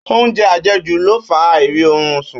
Óúnjẹ àjẹjù le fa àìrí orun sùn